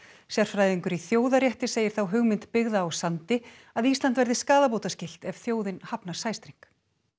sérfræðingur í þjóðarétti segir þá hugmynd byggða á sandi að Ísland verði skaðabótaskylt ef þjóðin hafnar sæstreng